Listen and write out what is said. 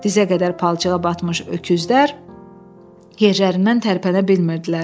Dizə qədər palçığa batmış öküzlər yerlərindən tərpənə bilmirdilər.